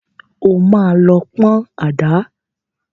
O máa lọ pọn àdá.